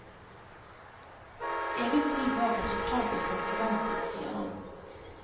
Egentlig var resultatet som forventet, sier han.